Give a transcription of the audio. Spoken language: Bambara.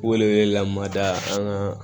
Wele wele la mada an ka